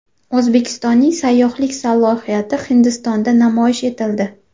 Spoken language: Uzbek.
O‘zbekistonning sayyohlik salohiyati Hindistonda namoyish etildi.